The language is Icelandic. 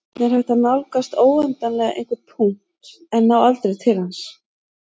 Hvernig er hægt að nálgast óendanlega einhvern punkt en ná aldrei til hans?